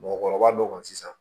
Mɔgɔkɔrɔba dɔ kan sisan